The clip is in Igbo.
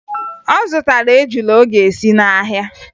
Ọ zụtara ejula ọ ga-esi n'ahịa